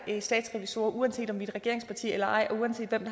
statsrevisorer uanset om vi er et regeringsparti eller ej og uanset hvem